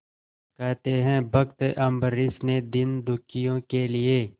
कहते हैं भक्त अम्बरीश ने दीनदुखियों के लिए